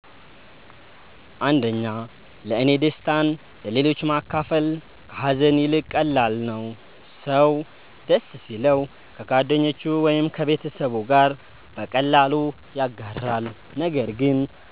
1ለእኔ ደስታን ለሌሎች ማካፈል ከሀዘን ይልቅ ቀላል ነው። ሰው ደስ ሲለው ከጓደኞቹ ወይም ከቤተሰቡ ጋር በቀላሉ ያጋራል፣ ነገር ግን